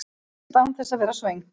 Grennist án þess að vera svöng